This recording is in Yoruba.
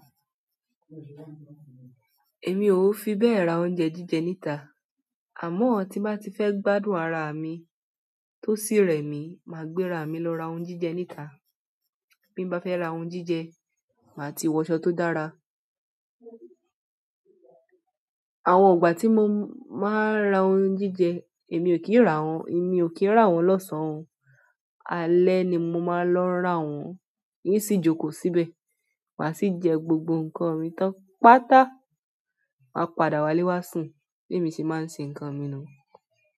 Èmi ò fi bẹ́ẹ̀ ra oúnjẹ jíjẹ níta, àmọ́ tí má tí fẹ́ gbádùn ara mi tó sì rẹ mi, màá gbéra mi lọ ra oun jíjẹ níta. Bí mo bá fẹ́ ra oun jíjẹ, màá ti wọṣọ tó dára. Àwọn ìgbà tí mo máa ń ra oun jíjẹ, èmi ò kí ń rà wọ́n, èmi ò kí ń rà wọ́n lọ́sàn-án, alẹ́ ni mo máa ń lọ rà wọ́n, yí sì jókòó síbẹ̀, màá sì jẹ gbogbo ǹkan mi tán pátá, màá padà wálé wá sùn bí ẹmi ṣe máa ń ṣe ǹkan mi nu.